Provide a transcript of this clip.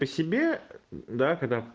ты себе да когда